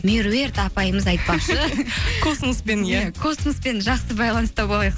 меруерт апайымыз айтпақшы космоспен иә космоспен жақсы байланыста болайық